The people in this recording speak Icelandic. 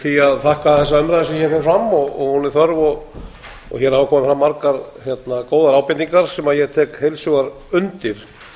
því að þakka þessa umræðu sem hér fer fram og hún er þörf og hér hafa komið fram margar góðar ábendingar sem ég tek heilshugar undir